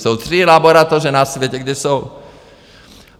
Jsou tři laboratoře na světě, kde jsou.